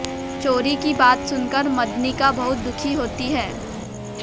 चोरी की बात सुनकर मदनिका बहुत दुखी होती है